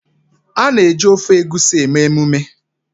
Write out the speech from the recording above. A na-eji ofe Egusi eme emume